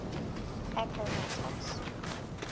appomattox